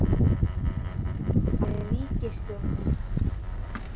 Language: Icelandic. hvar er ríkisstjórnin?